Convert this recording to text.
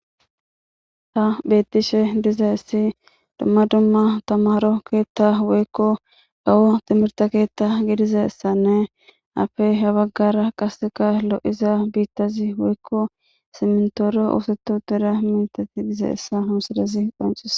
Hays betishe dizays dumma dumma tamaro keta woyko aho timrte keta gididaysane izappe ha bagara qaseka lo'iza ket simtora oset utid dizaysa ha misilez qoncises.